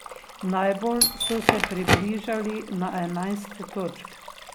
Najbolj so se približali na enajst točk.